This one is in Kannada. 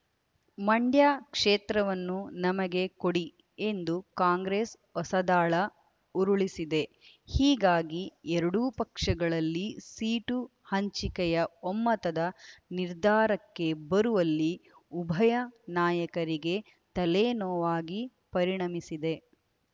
ಮಂಡ್ಯ ಕ್ಷೇತ್ರವನ್ನು ನಮಗೆ ಕೊಡಿ ಎಂದು ಕಾಂಗ್ರೆಸ್ ಹೊಸದಾಳ ಉರುಳಿಸಿದೆ ಹೀಗಾಗಿ ಎರಡೂ ಪಕ್ಷಗಳಲ್ಲಿ ಸೀಟು ಹಂಚಿಕೆಯ ಒಮ್ಮತದ ನಿರ್ಧಾರಕ್ಕೆ ಬರುವಲ್ಲಿ ಉಭಯ ನಾಯಕರಿಗೆ ತಲೆನೋವಾಗಿ ಪರಿಣಮಿಸಿದೆ